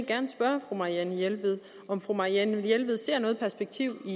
gerne spørge fru marianne jelved om fru marianne jelved ser noget perspektiv i